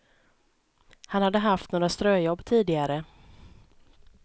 Han hade haft några ströjobb tidigare.